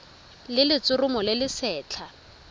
le letshoroma le le setlha